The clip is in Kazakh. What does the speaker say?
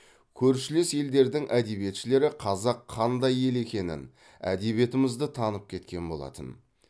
көршілес елдердің әдиебетшілері қазақ қандай ел екенін әдебиетімізді танып кеткен болатын